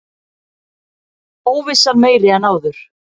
Óvissan meiri en áður